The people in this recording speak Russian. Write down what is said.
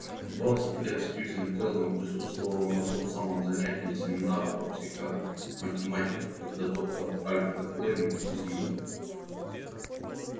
в двадцать лет сьюзен кэлвин присутствовала на том самом занятии семинара по психоматематике когда доктор альфред лэннинг из ю